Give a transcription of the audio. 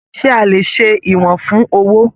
Ṣe a lè ṣe ìwọ̀n fún owó?